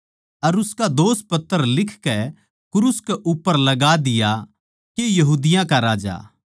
अर उसका दोषपत्र लिखकै क्रूस कै उप्पर लगा दिया के यहूदियाँ का राजा